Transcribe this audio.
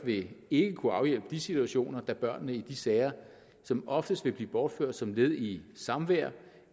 vil ikke kunne afhjælpe de situationer da børnene i de sager som oftest vil blive bortført som led i et samvær